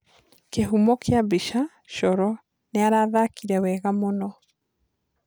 Kĩhumo kĩa mbica : Coro "Nĩarathakire wega muno.